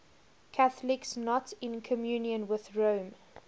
catholics not in communion with rome